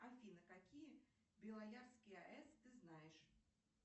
афина какие белоярские аэс ты знаешь